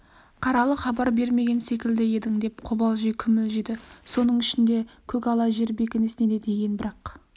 қаралы хабар бермеген секілді едің деп қобалжи күмілжіді соның ішінде көкала жар бекінісіне де тиген бірақ